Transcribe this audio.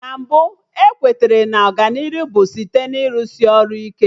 Na mbụ, ewetere na Ọganihu bụ site na ịrụsị ọrụ ike